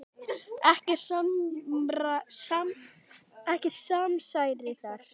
Ekkert samsæri þar.